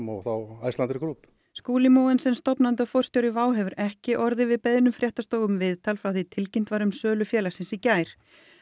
og þá Icelandair Group Skúli Mogensen stofnandi og forstjóri WOW hefur ekki orðið við beiðnum fréttastofu um viðtal frá því tilkynnt var um sölu félagsins í gær